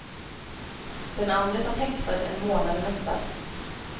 Den andre satt häktad en månad i höstas.